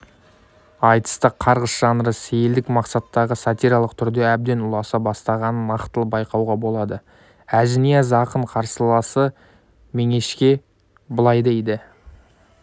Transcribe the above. айтыста қарғыс жанры сейілдік мақсаттағы сатиралық түрге әбден ұласа бастағанын нақтылы байқауға болады әжінияз ақын қарсыласы меңешке былай дейді